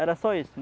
Era só isso.